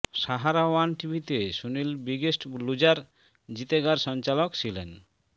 Sahara one টিভিতে Sunil biggest loser জিতেগার সঞ্চালক ছিলেন